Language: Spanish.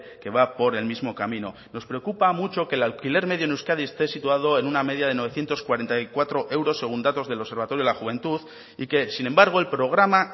que va por el mismo camino nos preocupa mucho que el alquiler medio en euskadi esté situado en una media de novecientos cuarenta y cuatro euros según datos del observatorio de la juventud y que sin embargo el programa